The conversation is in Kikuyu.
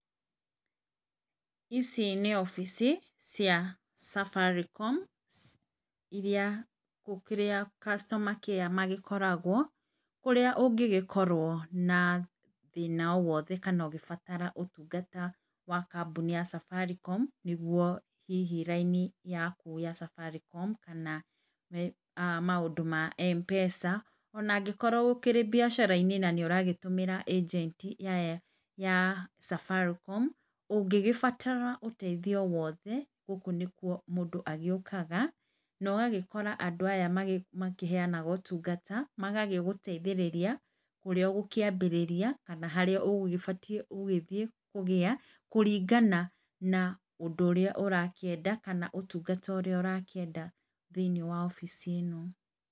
Ici nĩ obici cia Safaricom irĩa customer care magĩkoragwo kũrĩa ũngĩgĩkorwo na thĩna wothe kana ũngĩbatara ũtungata wa kambuni ya Safaricom nĩguo hihi raini yaku ya Safaricom kana maũndũ ma Mpesa ona angĩkorwo ũkĩrĩ mbiacara inĩ nanĩ ũragĩtũmĩra agenti ya Safaricom .Ũngĩgĩbatara ũteithio wothe gũkũ nĩkuo mũndũ agĩũkaga na ũgagĩkora andũ aya makĩheanaga ũtungata magagĩgũteithĩrĩria ũrĩa ũgũkĩambĩrĩria kana harĩa ũgũgĩbatiĩ gũgĩthiĩ. Kũringana na ũndũ ũrĩa ũrakĩenda kana ũtungata ũrĩa ũrakĩenda thĩiniĩ wa obici ĩno.